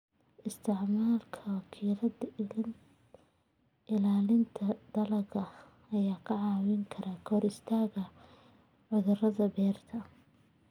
Isticmaalka wakiilada ilaalinta dalagga ayaa kaa caawin kara ka hortagga cudurrada beeraha.